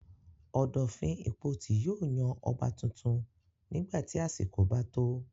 Ọ̀dọ̀fin Ìpotì yóò yan ọba tuntun nígbà tí àsìkò bá tó.